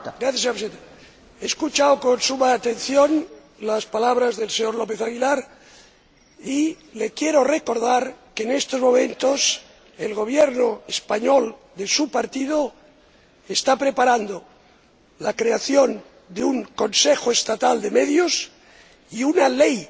Señora Presidenta, he escuchado con suma atención las palabras del señor López Aguilar y le quiero recordar que, en estos momentos, el Gobierno español, de su partido, está preparando la creación de un Consejo Estatal de Medios y una ley